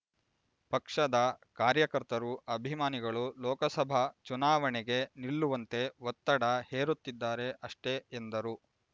ಪಕ್ಷದ ಕಾರ್ಯಕರ್ತರು ಅಭಿಮಾನಿಗಳು ಲೋಕಸಭಾ ಚುನಾವಣೆಗೆ ನಿಲ್ಲುವಂತೆ ಒತ್ತಡ ಹೇರುತ್ತಿದ್ದಾರೆ ಅಷ್ಟೆ ಎಂದರು